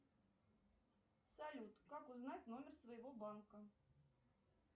салют как узнать номер своего банка